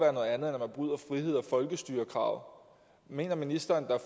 folkestyrekravet mener ministeren der